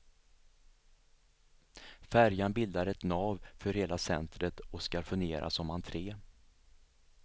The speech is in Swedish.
Färjan bildar ett nav för hela centret och skall fungera som entré.